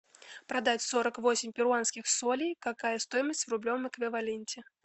продать сорок восемь перуанских солей какая стоимость в рублевом эквиваленте